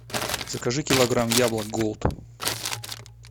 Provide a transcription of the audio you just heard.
закажи килограмм яблок голд